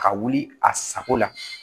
Ka wuli a sago la